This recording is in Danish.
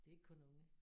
Det er ikke kun unge